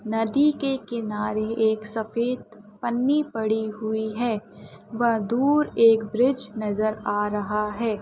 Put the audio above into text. नदी के किनारे एक सफेद पन्नी पढ़ी हुई है वह एक दूर ब्रीज नजर आ रहा हैं ।